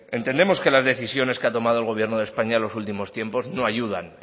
entendemos que las decisiones que ha tomado el gobierno de españa en los últimos tiempos no ayudan